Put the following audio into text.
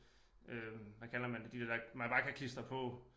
Øh hvad kalder man det de der man bare kan klistre på